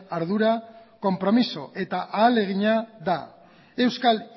ardura konpromiso eta ahalegina da euskal